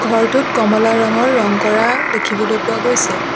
ঘৰটোত কমলা ৰঙৰ ৰং কৰা দেখিবলৈ পোৱা গৈছে।